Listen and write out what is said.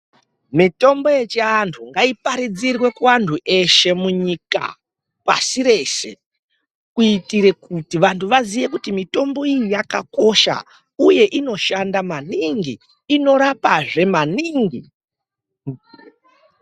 Mitombo yechi antu ngayi paridzirwe ku antu eshe mu nyika pasi reshe kuitire kuti vantu vaziye kuti mitombo iyi yaka kosha uye inoshanda maningi inorapa zvee maningi.